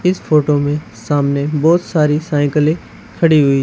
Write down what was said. इस फोटो में सामने बहोत सारी साइकिलें खड़ी हुई--